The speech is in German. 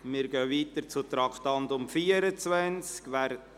Wir fahren weiter mit dem Traktandum 24.